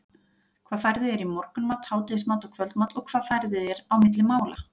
hvað færðu þér í morgunmat, hádegismat og kvöldmat og hvað færðu þér á milli mála?